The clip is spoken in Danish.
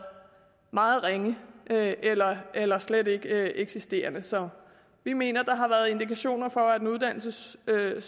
meget ringe eller eller slet ikke eksisterende så vi mener at der har været indikationer for at den uddannelsessøgende